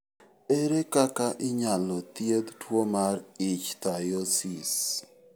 Ere kaka inyalo thiedh tuwo mar ichthyosis?